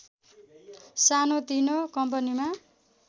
सानोतिनो कम्पनीमा